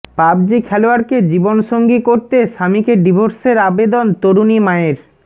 PUBG খেলোয়াড়কে জীবনসঙ্গী করতে স্বামীকে ডিভোর্সের আবেদন তরুণী মায়ের